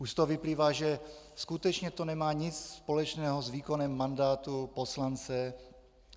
Už z toho vyplývá, že skutečně to nemá nic společného s výkonem mandátu poslance.